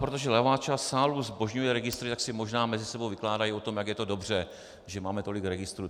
Protože levá část sálu zbožňuje registry, tak si možná mezi sebou vykládají o tom, jak je to dobře, že máme tolik registrů.